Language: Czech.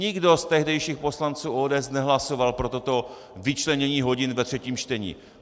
Nikdo z tehdejších poslanců ODS nehlasoval pro toto vyčlenění hodin ve třetím čtení.